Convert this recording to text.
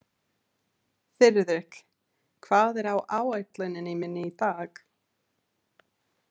Þiðrik, hvað er á áætluninni minni í dag?